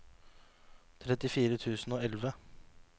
trettifire tusen og elleve